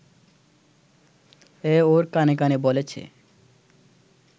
এ ওর কানে কানে বলেছে